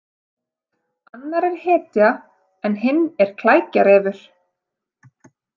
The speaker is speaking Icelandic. Annar er hetja en hinn er klækjarefur.